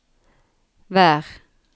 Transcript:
vær